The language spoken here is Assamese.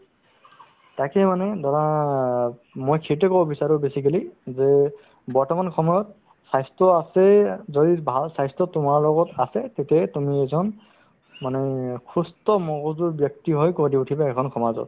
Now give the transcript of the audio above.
তাকে মানে ধৰা অ মই সেইটোয়ে ক'ব বিচাৰো basically যে বৰ্তমান সময়ত স্বাস্থ্য আছেই যদি ভাল স্বাস্থ্য তোমাৰ লগত আছে তেতিয়াহে তুমি এজন মানে সুস্থ মগজুৰ ব্যক্তি হৈ গঢ় দি উঠিবা এখন সমাজত